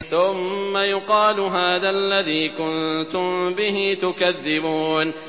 ثُمَّ يُقَالُ هَٰذَا الَّذِي كُنتُم بِهِ تُكَذِّبُونَ